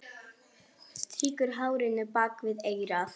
Strýkur hárinu bak við eyrað.